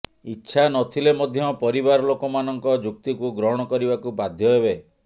ଇଚ୍ଛା ନ ଥିଲେ ମଧ୍ୟ ପରିବାର ଲୋକ ମାନଙ୍କ ଯୁକ୍ତିକୁ ଗ୍ରହଣ କରିବାକୁ ବାଧ୍ୟ ହେବେ